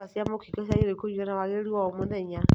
Ndawa cia mũkingo ciagĩrĩirwo nĩ kũnyuo na wagĩrĩru o mũthenya